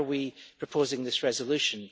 Why are we proposing this resolution?